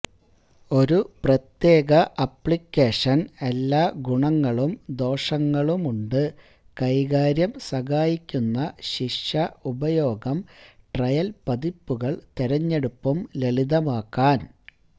ഒരു പ്രത്യേക അപ്ലിക്കേഷൻ എല്ലാ ഗുണങ്ങളും ദോഷങ്ങളുമുണ്ട് കൈകാര്യം സഹായിക്കുന്ന ശിക്ഷ ഉപയോഗം ട്രയൽ പതിപ്പുകൾ തിരഞ്ഞെടുപ്പും ലളിതമാക്കാൻ